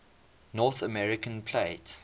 north american plate